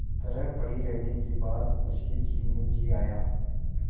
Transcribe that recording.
तरह पड़ी रहने के बाद उसके जी में जी आया